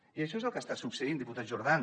i això és el que està succeint diputat jordan